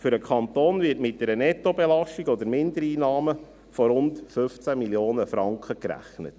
Für den Kanton wird mit einer Nettobelastung oder Mindereinnahmen von rund 15 Mio. Franken gerechnet.